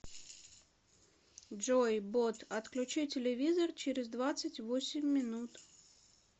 джой бот отключи телевизор через двадцать восемь минут